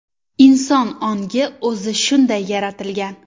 Inson ongi o‘zi shunday yaratilgan.